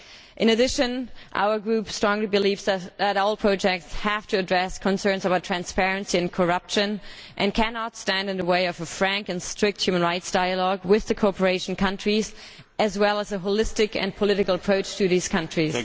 In addition, our group strongly believes that all projects have to address concerns about transparency and corruption and cannot stand in the way of a frank and strict human rights dialogue with the cooperation countries, as well as a holistic and political approach to these countries.